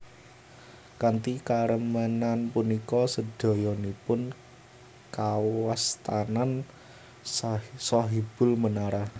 Kanthi karemenan punika sedayanipun kawastanan Sahibul Menara